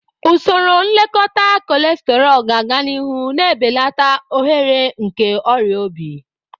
Usoro nlekọta cholesterol ga-aga n'ihu, na-ebelata ohere nke ọrịa obi.